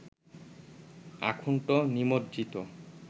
আকুণ্ঠ নিমজ্জিত